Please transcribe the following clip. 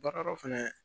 Baara dɔ fɛnɛ